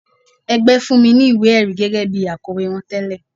Ẹgbẹ́ fún mi ní ìwé-ẹ̀rí gẹ́gẹ́ bí akọ̀wé wọn tẹle.